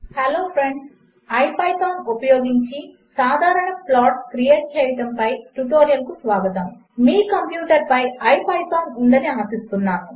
hello friends iPythonఉపయోగించిసాధారణప్లాట్స్క్రియేట్చేయడముపైట్యుటోరియల్కుస్వాగతం మీకంప్యూటర్పైIPythonఉందనిఆశిస్తున్నాను